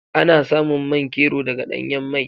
Ana samun man kero daga ɗanyan mai.